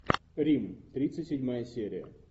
рим тридцать седьмая серия